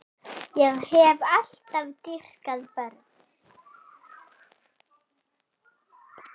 Ég hef alltaf dýrkað börn.